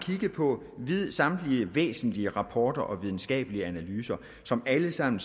på samtlige væsentlige rapporter og videnskabelige analyser som alle sammen